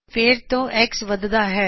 ਫੇਰ ਤੋਂ X ਵੱਧਦਾ ਹੈ